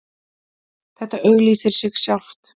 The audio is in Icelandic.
Þetta auglýsir sig sjálft